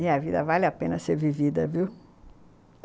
E a vida vale a pena ser vivida, viu?